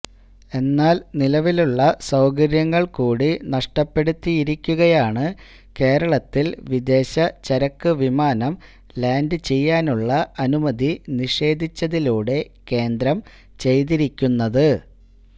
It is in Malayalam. എന്നാല് നിലവിലുള്ള സൌകര്യങ്ങള് കൂടി നഷ്ടപ്പെടുത്തിയിരിക്കുകയാണ് കേരളത്തില് വിദേശ ചരക്ക് വിമാനം ലാന്ഡ് ചെയ്യാനുള്ള അനുമതി നിഷേധിച്ചതിലൂടെ കേന്ദ്രം ചെയ്തിരിക്കുന്നത്